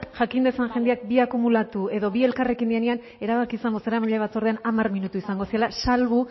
jakin dezan jendeak bi akumulatu edo bi elkarrekin direnean erabaki izango zen bozeramaileen batzordean hamar minutu izango zirela salbu